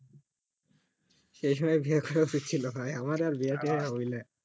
সেই সময় বিয়ে করা উচিৎ ছিল ভায়া আমারা আর বিয়া টিয়া হইল না